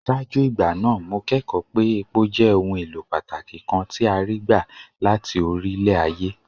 Ṣáájú ìgbà náà, mo kẹ́kọ̀ọ́ pé epo jẹ́ ohun èlò pàtàkì kan tí a rí gbà láti orílẹ̀-ayé.